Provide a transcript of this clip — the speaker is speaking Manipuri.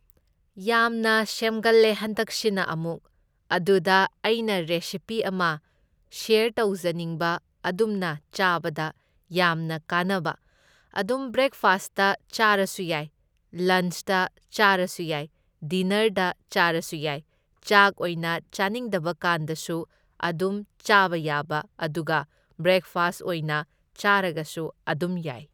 ꯌꯥꯝꯅ ꯁꯦꯝꯒꯜꯂꯦ ꯍꯟꯗꯛꯁꯤꯅ ꯑꯃꯨꯛ, ꯑꯗꯨꯗ ꯑꯩꯅ ꯔꯦꯁꯤꯄꯤ ꯑꯃ ꯁ꯭ꯌꯔ ꯇꯧꯖꯅꯤꯡꯕ ꯑꯗꯨꯝꯅ ꯆꯥꯕꯗ ꯌꯥꯝꯅ ꯀꯥꯟꯅꯕ, ꯑꯗꯨꯝ ꯕ꯭ꯔꯦꯛꯐꯥꯁꯇ ꯆꯥꯔꯁꯨ ꯌꯥꯏ, ꯂꯟꯁꯇ ꯆꯥꯔꯁꯨ ꯌꯥꯏ, ꯗꯤꯅꯔꯗ ꯆꯥꯔꯁꯨ ꯌꯥꯏ, ꯆꯥꯛ ꯑꯣꯏꯅ ꯆꯥꯅꯤꯡꯗꯕꯀꯥꯟꯗꯁꯨ ꯑꯗꯨꯝ ꯆꯥꯕ ꯌꯥꯕ ꯑꯗꯨꯒ ꯕ꯭ꯔꯦꯛꯐꯥꯁ ꯑꯣꯏꯅ ꯆꯥꯔꯒꯁꯨ ꯑꯗꯨꯝ ꯌꯥꯢ꯫